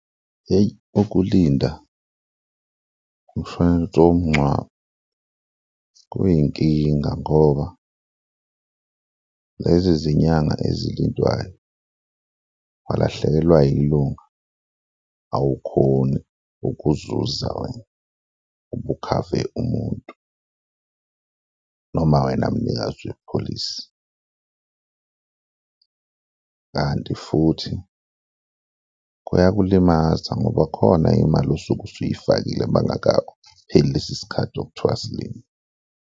Hheyi, ukulinda umshwalense womngcwabo kuyinkinga ngoba lezi zinyanga ezilindwayo walahlekelwa yilunga, awukhoni ukuzuza ubukhave umuntu noma wena mnikazi wepholisi kanti futhi kuyakulimaza ngoba khona imali osuke usuyifakile makungaka pheli lesi sikhathi okuthiwa silinde.